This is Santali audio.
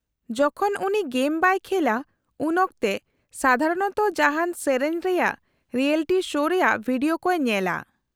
-ᱡᱚᱠᱷᱚᱱ ᱩᱱᱤ ᱜᱮᱢ ᱵᱟᱭ ᱠᱷᱮᱞᱼᱟ ᱩᱱᱚᱠᱛᱮ ᱥᱟᱫᱷᱟᱨᱚᱱᱚᱛᱚ ᱡᱟᱦᱟᱱ ᱥᱮᱹᱨᱮᱹᱧ ᱨᱮᱭᱟᱜ ᱨᱤᱭᱮᱞᱤᱴᱤ ᱥᱳ ᱨᱮᱭᱟᱜ ᱵᱷᱤᱰᱤᱭᱳ ᱠᱚᱭ ᱧᱮᱞᱟ ᱾